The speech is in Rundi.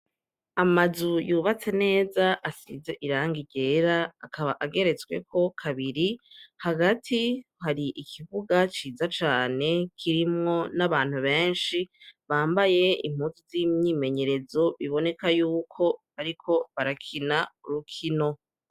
Amazu yubatse neza asize irangi ryera akaba ageretsweko kabiri hagati hari ikibuga ciza cane kirimwo n'abantu benshi bambaye impuzu z'imyimenyerezo biboneka yuko bariko barakina urukino.